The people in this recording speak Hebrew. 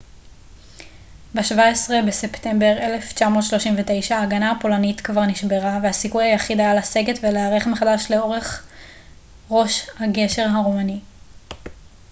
ב-17 בספטמבר 1939 ההגנה הפולנית כבר נשברה והסיכוי היחיד היה לסגת ולהיערך מחדש לאורך ראש הגשר הרומני